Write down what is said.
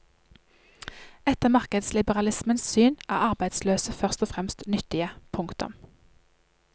Etter markedsliberalismens syn er arbeidsløse først og fremst nyttige. punktum